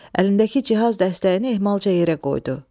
Əlindəki cihaz dəstəyini ehmalca yerə qoydu.